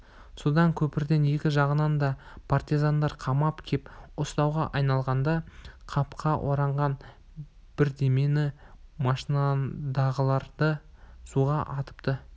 содан көпірдің екі жағынан да партизандар қамап кеп ұстауға айналғанда қапқа ораған бірдемені машинадағылар суға атыпты